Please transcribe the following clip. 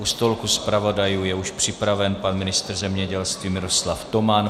U stolku zpravodajů je už připraven pan ministr zemědělství Miroslav Toman.